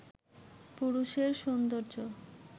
পুরুষের সৌন্দর্য